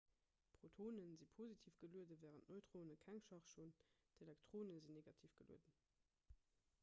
protonen si positiv gelueden wärend neutrone keng charge hunn d'elektronen sinn negativ gelueden